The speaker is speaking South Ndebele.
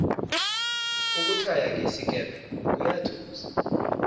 ukuthaya ngesikepe kuyathusa